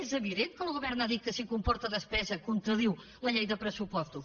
és evident que el govern ha dit que si comporta despesa contradiu la llei de pressupostos